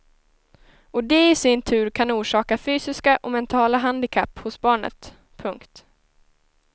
Och det i sin tur kan orsaka fysiska och mentala handikapp hos barnet. punkt